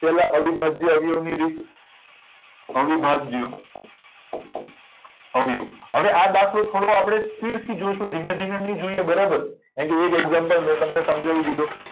પેલા અવિભાજ્ય અવયવો ની રીત આવી ભાજ્ અવયવ હવે આ દાખલો ઠો આપડે speed થી જોઈશું ધીમે ધીમે ની જોઈએ બરાબર કેમ કે એક example મેં તમને સમજાવી દીધું